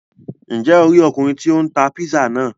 Njẹ o ri Ọkùnrin tí o n tá pizza náà?